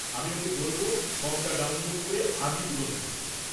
আমি ওকে বলব ফর্ম-টা ডাউনলোড করে আজই পূরণ করতে।